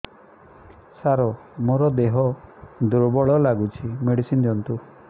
ସାର ମୋର ଦେହ ଦୁର୍ବଳ ଲାଗୁଚି ମେଡିସିନ ଦିଅନ୍ତୁ